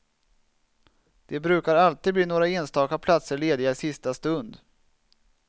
Det brukar alltid bli några enstaka platser lediga i sista stund.